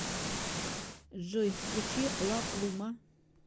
джой включи ла плума